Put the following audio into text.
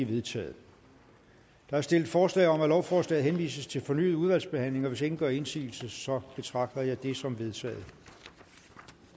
vedtaget der er stillet forslag om at lovforslaget henvises til fornyet udvalgsbehandling hvis ingen gør indsigelse så betragter jeg det som vedtaget